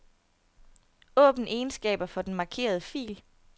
Åbn egenskaber for den markerede fil.